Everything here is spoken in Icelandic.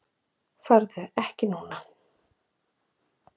Farðu ekki núna!